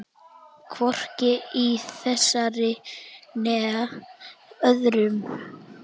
Hvorki í þessari né öðrum.